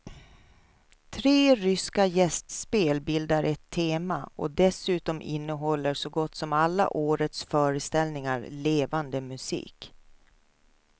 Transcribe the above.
Tre ryska gästspel bildar ett tema och dessutom innehåller så gott som alla årets föreställningar levande musik.